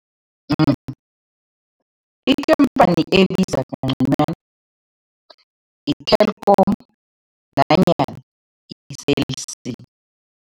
Ebiza ngconywana yi-Telkom nanyana yi-Cell c.